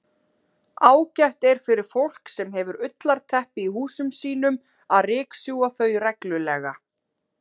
Ágætt er fyrir fólk sem hefur ullarteppi í húsum sínum að ryksjúga þau reglulega.